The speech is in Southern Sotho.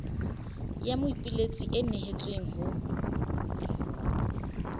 ya moipiletsi e nehetsweng ho